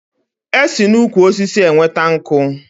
E si n'ukwu osisi enweta nkú